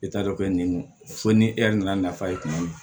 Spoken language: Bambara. I t'a dɔn ko nin fo ni e yɛrɛ nana nafa ye kuma min